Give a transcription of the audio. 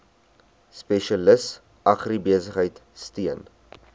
spesialis agribesigheid steun